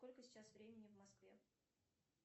сколько сейчас времени в москве